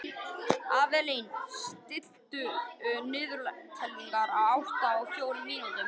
Avelín, stilltu niðurteljara á áttatíu og fjórar mínútur.